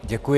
Děkuji.